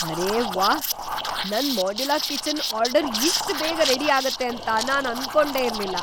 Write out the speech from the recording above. ಅರೇ ವಾಹ್! ನನ್ modular kitchen order ಇಷ್ಟ್ ಬೇಗ ರೆಡಿ ಆಗುತ್ತೆ ಅಂತ ನಾನ್ ಅನ್ಕೊಂಡೇ ಇರ್ಲಿಲ್ಲ.